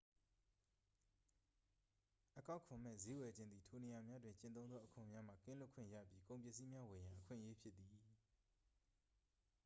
အကောက်ခွန်မဲ့ ဈေးဝယ်ခြင်းသည် ထိုနေရာများတွင် ကျင့်သုံးသော အခွန်များမှ ကင်းလွတ်ခွင့်ရပြီး ကုန်ပစ္စည်းများဝယ်ရန် အခွင့်အရေးဖြစ်သည်